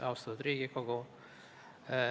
Austatud Riigikogu!